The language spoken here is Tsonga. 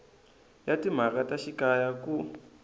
ya timhaka ta xikaya ku